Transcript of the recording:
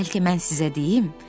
Bəlkə mən sizə deyim?